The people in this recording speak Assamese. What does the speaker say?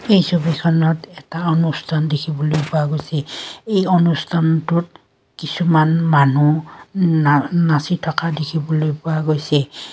এই ছবিখনত এটা অনুষ্ঠান দেখিবলৈ পোৱা গৈছে এই অনুষ্ঠানটোত কিছুমান মানুহ না নাচি থকা দেখিবলৈ পোৱা গৈছে।